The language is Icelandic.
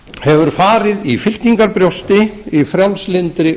hefur farið í fylkingarbrjósti í frjálslyndri